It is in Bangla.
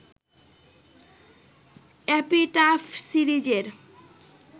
‘এপিটাফ’ সিরিজের